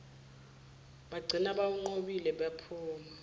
bagcina bewunqobile baphuma